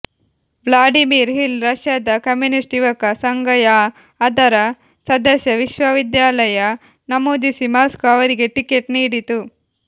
Vladimir Hill ರಷ್ಯದ communist ಯುವಕ ಸಂಘ ಯಾ ಅದರ ಸದಸ್ಯ ವಿಶ್ವವಿದ್ಯಾಲಯ ನಮೂದಿಸಿ ಮಾಸ್ಕೋ ಅವರಿಗೆ ಟಿಕೆಟ್ ನೀಡಿತು